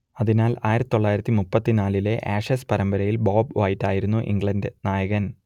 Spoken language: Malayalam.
അതിനാൽ ആയിരത്തിതൊള്ളായിരത്തി മുപ്പത്തിനാലിലെ ആഷസ് പരമ്പരയിൽ ബോബ് വൈറ്റ് ആയിരുന്നു ഇംഗ്ലണ്ട് നായകൻ